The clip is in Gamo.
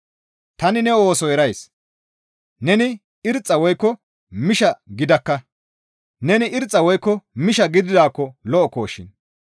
Tani ne ooso erays; neni irxxa woykko misha gidakka; neni irxxa woykko misha gididaakko lo7okkoshin.